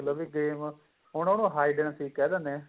ਲੋ ਵੀ game ਹੁਣ ਉਹਨੂੰ hide and seek ਕਹਿ ਦੇਂਦੇ ਏ